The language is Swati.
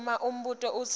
uma umbuto udzinga